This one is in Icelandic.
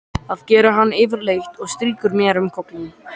Það gerir hann yfirleitt og strýkur mér um kollinn.